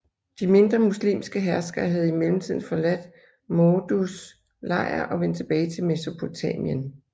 De mindre muslimske herskere havde i mellemtiden forladt Mawduds lejr og vendt tilbage til Mesopotamien